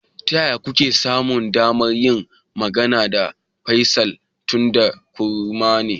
Ta yaya kuke samun damar yin magana da Faisal, tunda kurma ne?